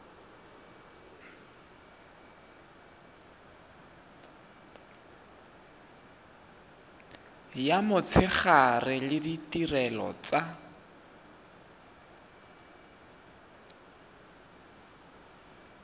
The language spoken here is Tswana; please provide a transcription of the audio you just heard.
ya motshegare le ditirelo tsa